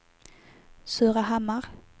Surahammar